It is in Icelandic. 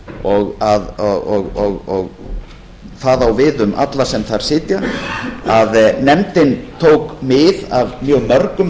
og það á við um alla sem þar sitja að nefndin tók mið af mjög mörgum